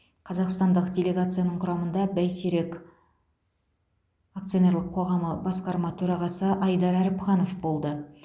қазақстандық делегацияның құрамында бәйтерек акционерлік қоғамы басқарма төрағасы айдар әріпханов болды